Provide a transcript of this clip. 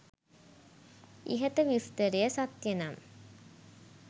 ඉහත විස්තරය සත්‍යනම්